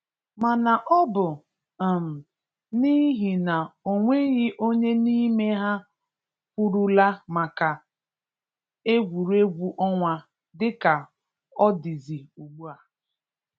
mana ọ bụ um n’ihi na o nweghị onye n’ime ha kwurula maka egwuregwu ọnwa dịka ọ dịzị ugbua